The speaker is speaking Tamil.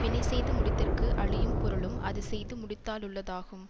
வினை செய்து முடித்தற்கு அழியும் பொருளும் அது செய்து முடித்தாலுளதாகும்